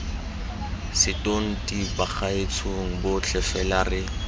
setonti bagaetshong botlhe fela re